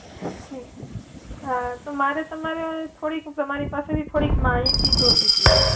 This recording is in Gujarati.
હમ્મ અ તો મારે તમારે થોડીક, તમારી પાસેથી થોડીક માહિતી જોઈતી હતી.